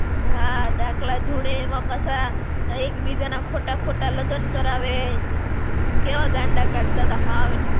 હાં, ડાકલા ધૂણે એમાં પાછા ને એક બીજાના ખોટા ખોટા લગન કરાવે, કેવા ગાંડા કાઢતાં તા હાવ